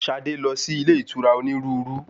Ṣadé ti lọ sí ilé ìtura onírúurú.